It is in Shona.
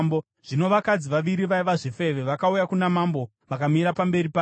Zvino vakadzi vaviri vaiva zvifeve vakauya kuna mambo vakamira pamberi pake.